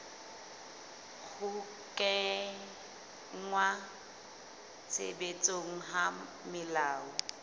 ho kenngwa tshebetsong ha melao